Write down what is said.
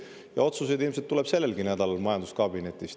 Ja otsuseid ilmselt tuleb sellelgi nädalal majanduskabinetist.